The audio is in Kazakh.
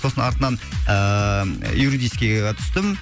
сосын артынан ыыы юридический ға түстім